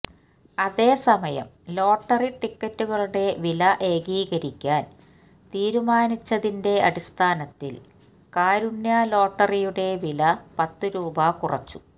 അതേസമയം ലോട്ടറി ടിക്കറ്റുകളുടെ വില ഏകീകരിക്കാന് തീരുമാനിച്ചതിന്റെ അടിസ്ഥാനത്തില് കാരുണ്യ ലോട്ടറിയുടെ വില പത്ത് രൂപ കുറച്ചു